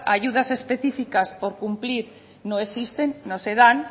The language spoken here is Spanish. ayudas específicas por cumplir no existen no se dan